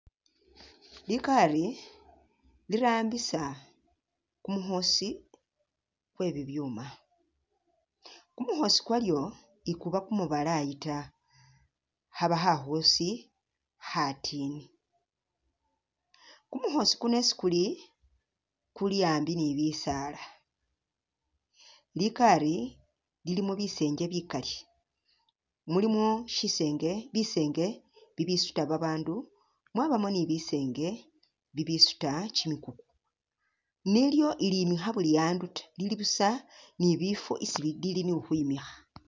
Likari lirambisa kumukhosi kwe bibyuuma, kumukhosi kwolyo ikuba kumubalayi ta, khaba khakhosi khatini, kumukhosi kuno isi kuli kuli ambi ni bisaala, likari lilimo bisenge bikali ,mulimo shisenge bisenge bibisuta babandu mwabamo ni bisenge bibisuta kyimikuku ,nilyo ilimikha bili'andu ta ,lili busa ni bifo isi lili ni khukhwimikha